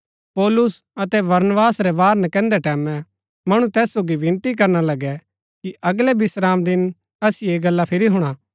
पौलुस अतै बरनबास रै बाहर नकैन्दै टैमैं मणु तैस सोगी विनती करना लगै कि अगलै विश्रामदिन असिओ ऐह गल्ला फिरी हुणा